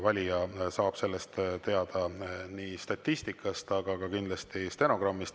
Valija saab sellest teada nii statistikast, aga kindlasti ka stenogrammist.